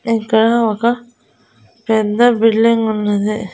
ఇక్కడ ఒక పెద్ద బిల్డింగ్ ఉన్నది.